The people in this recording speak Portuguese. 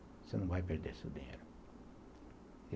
Você não vai perder seu dinheiro.